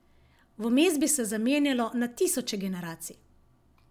Vmes bi se zamenjalo na tisoče generacij!